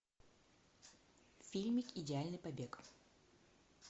фильм идеальный побег